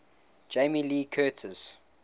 jamie lee curtis